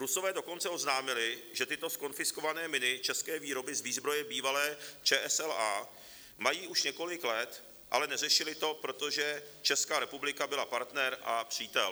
Rusové dokonce oznámili, že tyto zkonfiskované miny české výroby z výzbroje bývalé ČSLA mají už několik let, ale neřešili to, protože Česká republika byla partner a přítel.